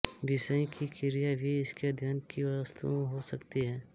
विषयी की क्रिया भी इसके अध्ययन की वस्तु हो सकती है